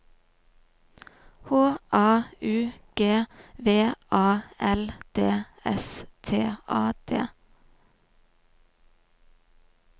H A U G V A L D S T A D